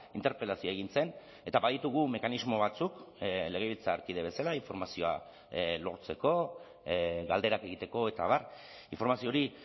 interpelazioa egin zen eta baditugu mekanismo batzuk legebiltzarkide bezala informazioa lortzeko galderak egiteko eta abar informazio hori